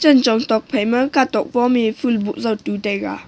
chan chong tokphai ma katok pome ful boh jao tu taiga.